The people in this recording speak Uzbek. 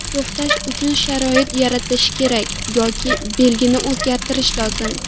To‘xtash uchun sharoit yaratish kerak yoki belgini o‘zgartirish lozim.